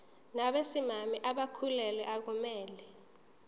nabesimame abakhulelwe akumele